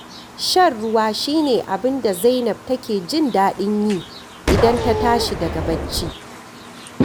Shan ruwa shi ne abin da Zainab take jin daɗin yi idan ta tashi daga bacci